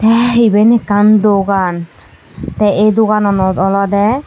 ah eben ekkan dogan tey ey dogananot olodey.